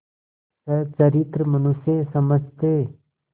सच्चरित्र मनुष्य समझते